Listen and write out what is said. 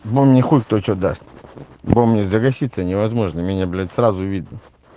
но мне хоть кто что даст потому что мне загаситься невозможно меня блять сразу видно